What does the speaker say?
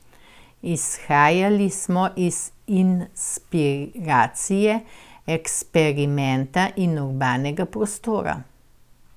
Izhajali smo iz inspiracije, eksperimenta in urbanega prostora.